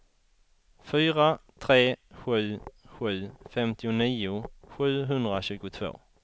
fyra tre sju sju femtionio sjuhundratjugotvå